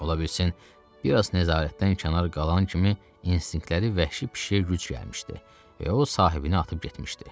Ola bilsin biraz nəzarətdən kənar qalan kimi instinktləri vəhşi pişiyə güc gəlmişdi və o sahibini atıb getmişdi.